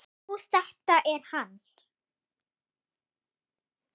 Jú, þetta er hann.